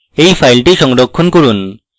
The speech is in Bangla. এই file সংরক্ষণ করুন